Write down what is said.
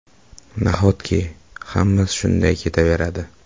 Nahotki, hammasi shunday ketaveradi?!